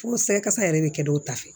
Fo sankasa yɛrɛ bɛ kɛ dɔw ta fɛ